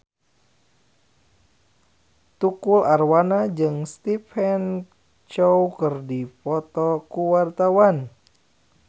Tukul Arwana jeung Stephen Chow keur dipoto ku wartawan